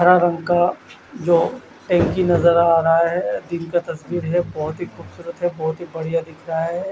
। हर रंग का जो हेन्की नज़र आ रहा है दिन का तस्वीर है बोहोत ही खुबसूरत है बोहोत ही बढ़िया दिख रहा है